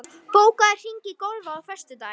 Karitas, bókaðu hring í golf á föstudaginn.